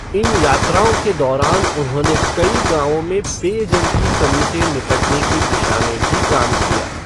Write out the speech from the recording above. इन यात्राओं के दौरान उन्होंने कई गाँवों में पेयजल की कमी से निपटने की दिशा में भी काम किया।